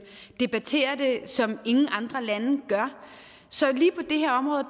debatterer det som ingen andre lande gør så lige på det her område